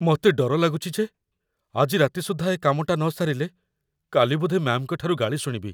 ମତେ ଡର ଲାଗୁଚି ଯେ ଆଜି ରାତି ସୁଦ୍ଧା ଏ କାମଟା ନସାରିଲେ, କାଲି ବୋଧେ ମ୍ୟା'ମ୍‌ଙ୍କ ଠାରୁ ଗାଳି ଶୁଣିବି ।